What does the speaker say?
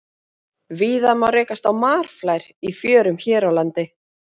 Víða má rekast á marflær í fjörum hér á landi.